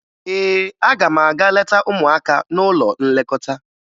Ee, aga m aga leta ụmụaka n'ụlọ nlekọta